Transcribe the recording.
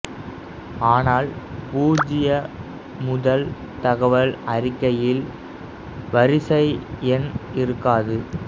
ஆனால் பூஜ்ஜிய முதல் தகவல் அறிக்கையில் வரிசை எண் இருக்காது